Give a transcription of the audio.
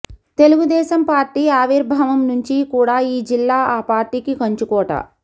Telugu Desam party ఆవిర్భావం నుంచి కూడా ఈ జిల్లా ఆ పార్టీకి కంచుకోట